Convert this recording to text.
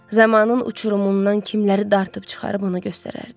Zamanın uçurumundan kimləri dartıb çıxarıb onu göstərərdi.